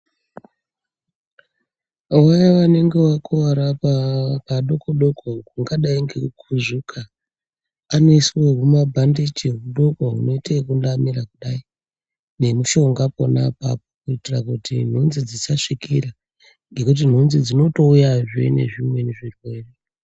Vaya vanenge wakuwara padoko doko ungadai ngekukuzvuka panoiswa huma bhandichi hudoko hunoita yekuva mira kudai nemushonga pona apapo kuitika kuti nhunzi dzisazvikira nekuti nhunzi dzinotouyazve ezvimweni zvirwere.